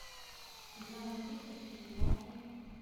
игра манчестер с ньюкаслом